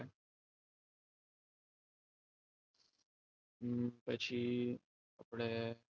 પછી આપણે